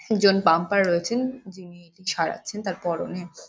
একজন পাম্পার রয়েছেন যিনি এটি সাড়াচ্ছেন তার পরনে --